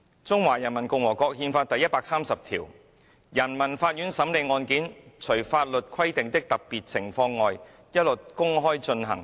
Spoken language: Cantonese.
"《中華人民共和國憲法》第一百二十五條："人民法院審理案件，除法律規定的特別情況外，一律公開進行。